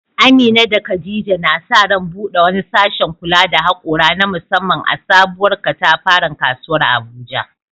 Amina da Khadija na sa ran bude wani sashen kula da haƙora na musamman a sabuwar katafaren kasuwar Abuja.